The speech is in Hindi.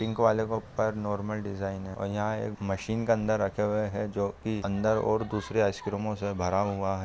पिंक वाले के ऊपर नार्मल डिज़ाइन है और यहाँ एक मशीन के अंदर रखे हुए है जो की अंदर और दूसरे आइस-क्रीमों से भरा हुआ है|